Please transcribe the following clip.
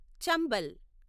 Chambal